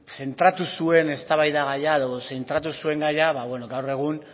zentratu zuen eztabaidagaia edo zentratu zuen gaia gaur egun